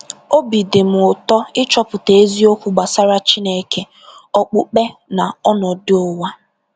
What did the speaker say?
Obi dị m ụtọ ịchọpụta eziokwu gbasara Chineke, okpukpe na ọnọdụ ụwa.